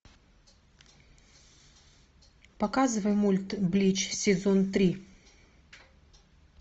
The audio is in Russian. показывай мульт блич сезон три